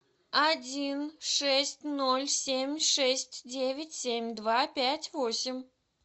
один шесть ноль семь шесть девять семь два пять восемь